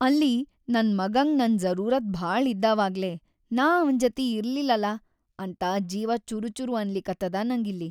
ಅಲ್ಲಿ ನನ್‌ ಮಗಂಗ್ ನನ್‌ ಜರೂರತ್‌ ಭಾಳ ಇದ್ದಾವಾಗ್ಲೇ ನಾ ಅವನ್‌ ಜತಿ ಇರ್ಲಿಲ್ಲಲ ಅಂತ ಜೀವ ಚುರುಚುರು ಅನ್ಲಿಕತ್ತದ ನಂಗಿಲ್ಲಿ.